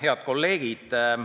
Head kolleegid!